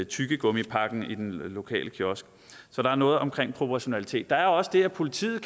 tyggegummipakken i den lokale kiosk så der er noget om proportionalitet der er også det at politiet